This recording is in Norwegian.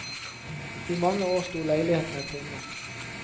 I mange år sto leilighetene tomme.